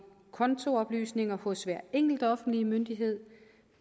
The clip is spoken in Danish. kontooplysninger hos hver enkelt offentlige myndighed